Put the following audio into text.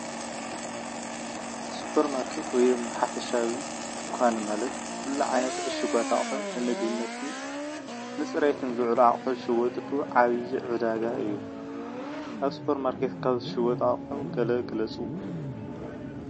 ስፖርማርኬት ወይ ሓፈሻዊ ደንኻን ማለት ኩሉ ዓይነት እሹጋት አቑሑ ምግቢ ንፅርየትን ዝውዕሉ አቑሑ ዝሽወጥሉ ዓብይ ዕዳጋ እዩ። ካብ ስፖርማርኬት ካብ ዝሽየጡ አቑሑ ገለ ግለፁ?